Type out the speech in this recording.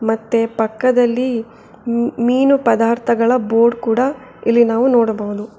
ಮತ್ತೆ ಪಕ್ಕದಲ್ಲಿ ಮೀನು ಪದಾರ್ಥಗಳ ಬೋರ್ಡ್ ಕೂಡ ಇಲ್ಲಿ ನಾವು ನೋಡಬಹುದು.